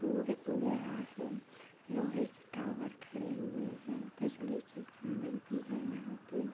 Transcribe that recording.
सूर्य उग रहा है लोहे की टावर खड़े हुए है बिजली के खंबे भी है यहां पे।